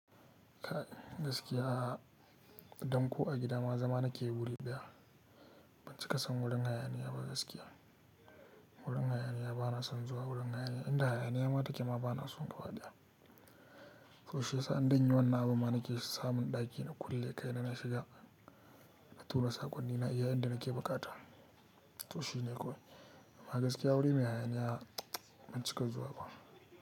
Gaskiya a, dan ko a gida ma zama nake yi awuri ɗaya. Ban cika son wurin hayaniya ba gaskiya. Wurin hayaniya bana son zuwa wurin hayaniya. Inda hayaniya ma take ma bana son gabadha. To shi yasa idan zan yi wani abu ma nake samun ɗaki na kulle kai na shiga, na tura saƙonnina, iya inda nake bukata. To shi ne kawai. Amma gaskiya wuri mai hayaniya ban cika zuwa ba.